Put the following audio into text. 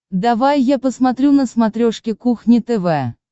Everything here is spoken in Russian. давай я посмотрю на смотрешке кухня тв